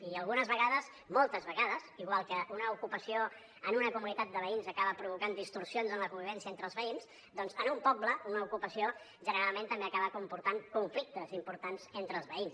i algunes vegades moltes vegades igual que una ocupació en una comunitat de veïns acaba provocant distorsions en la convivència entre els veïns doncs en un poble una ocupació generalment també acaba comportant conflictes importants entre els veïns